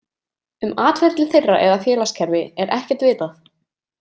Um atferli þeirra eða félagskerfi er ekkert vitað.